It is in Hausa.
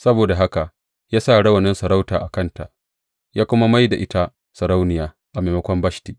Saboda haka ya sa rawanin sarauta a kanta, ya kuma mai da ita sarauniya a maimakon Bashti.